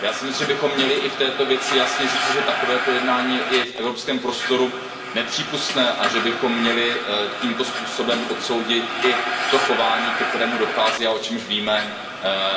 Já si myslím, že bychom měli i v této věci jasně říci, že takovéto jednání je v evropském prostoru nepřípustné a že bychom měli tímto způsobem odsoudit i to chování, ke kterému dochází, a o čemž víme,